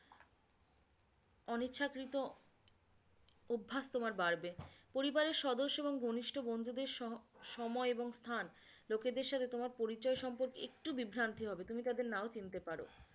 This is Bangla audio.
অনিচ্ছাকৃত অভ্যাস তোমার বাড়বে পরিবারের সদস্য এবং ঘনিষ্ট বন্ধুদের সহ সময় এবং স্থান, লোকেদের সঙ্গে তোমার পরিচয় একটু বিভ্রান্তি হবে, তুমি তাদের নাও চিনতে পারো